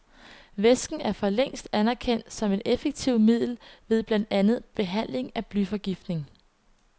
Væsken er for længst anerkendt som et effektivt middel ved blandt andet behandling af blyforgiftning.